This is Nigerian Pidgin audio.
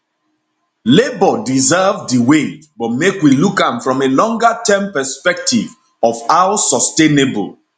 labour deserve di wage but make we look am from a longer term perspective of how sustainable